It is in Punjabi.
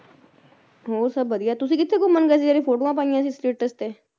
ਹੋਰ ਸਭ ਵਧੀਆ ਤੁਸੀ ਕਿੱਥੇ ਘੁੰਮਣ ਗਏ ਸੀ ਜਿਹੜੀਆਂ ਫੋਟੋਆਂ ਪਾਈਆਂ ਸੀ status ਤੇ